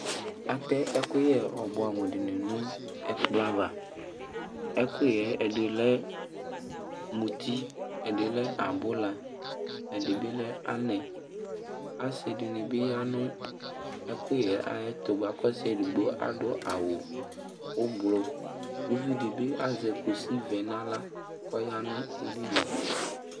Atɛ ɛkuyɛ ɔbuɛ amu dini nu ɛkplɔ ava ɛkuyɛ ɛdini lɛ muti ɛdini lɛ abula ɛdibi lɛ anɛ asidini bi ya nu ɛkuyɛ tu buaku ɔsiedigbo adu awu ublu uvidibi azɛ kusi vɛ nu aɣla koya nu ilinu